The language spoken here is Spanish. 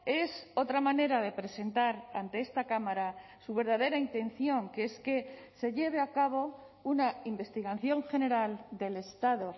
es otra manera de presentar ante esta cámara su verdadera intención que es que se lleve a cabo una investigación general del estado